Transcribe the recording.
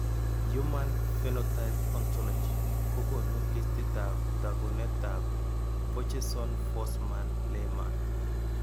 Human phenotype ontology kokoonu listiitab taakunetaab Borjeson Forssman Lehmann.